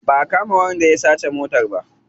Ba a kama wanda ya sace motar ba.